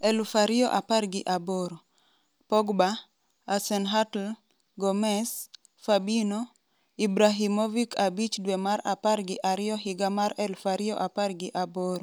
2018: Pogba, Hasenhuttl, Gomes, Fabinho, Ibrahimovic 5 dwe mar apar gi ariyo higa mar 2018: